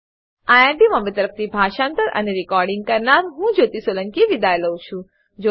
IIT Bombay તરફથી હું જ્યોતી સોલંકી વિદાય લઉં છું